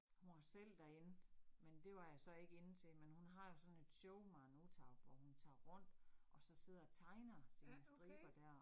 Hun var selv derinde, men det var jeg så ikke inde til, men hun har jo sådan et show Maren Uthaug, hvor hun tager rundt, og så sidder og tegner sine striber dér